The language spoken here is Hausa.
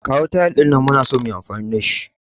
Kawo tayil din nan, muna so muyi amfani da shi.